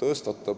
tõstab.